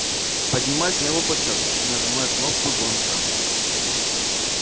поднимаюсь на его площадку и нажимаю кнопку звонка